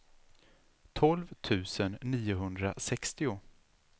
tolv tusen niohundrasextio